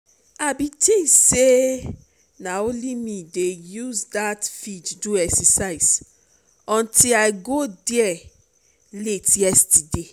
i bin dey think say na only me dey use dat field do exercise untill i go there late yesterday